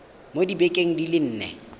mo dibekeng di le nne